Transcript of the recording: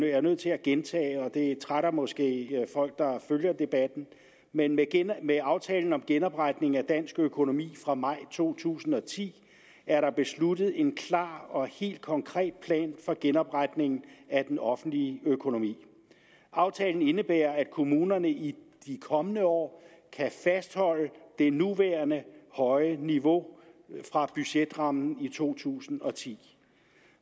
jeg nødt til at gentage og det trætter måske folk der følger debatten men med med aftalen om genopretning af dansk økonomi fra maj to tusind og ti er der besluttet en klar og helt konkret plan for genopretningen af den offentlige økonomi aftalen indebærer at kommunerne i de kommende år kan fastholde det nuværende høje niveau fra budgetrammen i to tusind og ti